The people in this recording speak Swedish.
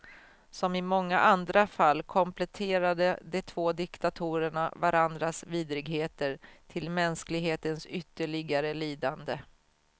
Som i många andra fall kompletterade de två diktatorerna varandras vidrigheter, till mänsklighetens ytterligare lidande.